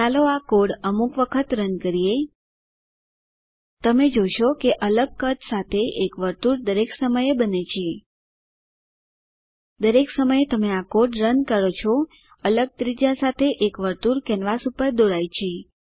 ચાલો આ કોડ અમુક વખત રન કરીએ તમે જોશો કે અલગ કદ સાથે એક વર્તુળ દરેક સમયે બને છે દરેક સમયે તમે આ કોડ રન કરો છો અલગ ત્રિજ્યા સાથે એક વર્તુળ કેનવાસ પર દોરાય છે